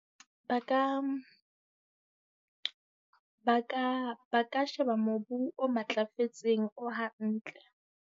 Ba ka, ba ka ba ka sheba mobu o matlafetseng, o hantle.